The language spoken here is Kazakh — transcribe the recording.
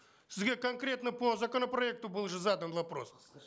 сізге конкретно по законопроекту был же задан вопрос